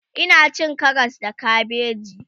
Ina cin Karas da kabeji